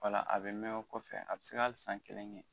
O la a bɛ mɛn o kɔfɛ a bi se ka hali san kelen kɛ.